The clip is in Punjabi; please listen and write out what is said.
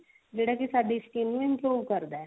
ਜਿਹੜਾ ਕੀ ਸਾਡੀ skin ਨੂੰ improve ਕਰਦਾ